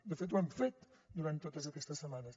de fet ho hem fet durant totes aquestes setmanes